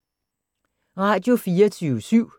Radio24syv